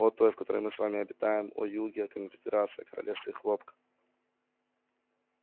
о той в которой мы с вами обитаем о юге о конфедерации о королевстве хлопка